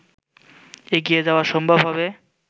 এগিয়ে যাওয়া সম্ভব হবে